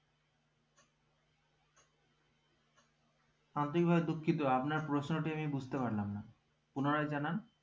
আতি ভাই দুঃখিত আপনার প্রশ্নটি আমি বুজতে পারলাম না পুনরায় জানান